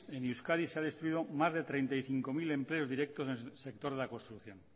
en euskadi se ha destruido más de treinta y cinco mil empleos directos en el sector de la construcción